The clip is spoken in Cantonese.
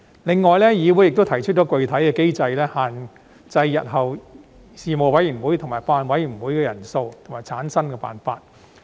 另外，議會亦提出了具體的機制，限制日後事務委員會及法案委員會的人數及產生辦法。